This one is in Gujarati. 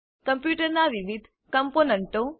કમ્પ્યુટરનાં વિવિધ કમ્પોનન્ટો